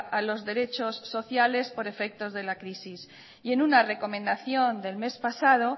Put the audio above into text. a los derechos sociales por efectos de la crisis y en una recomendación del mes pasado